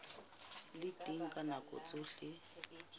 le teng ka nako tsohle